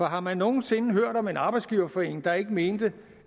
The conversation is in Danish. har man nogen sinde hørt om en arbejdsgiverforening der ikke mener